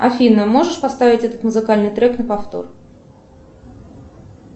афина можешь поставить этот музыкальный трек на повтор